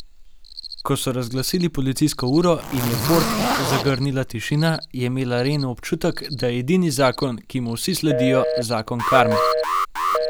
Ko so razglasili policijsko uro in je Fort zagrnila tišina, je imela Renu občutek, da je edini zakon, ki mu vsi sledijo, zakon karme.